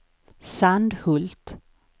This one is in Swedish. Sandhult